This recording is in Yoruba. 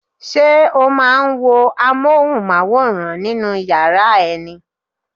Ṣé o máa ń wo Amóhùnmáwòrán nínú yàrá ẹ ni?